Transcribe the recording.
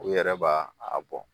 U yɛrɛ b'a a bɔ